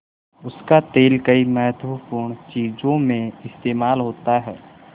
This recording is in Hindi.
उसका तेल कई महत्वपूर्ण चीज़ों में इस्तेमाल होता है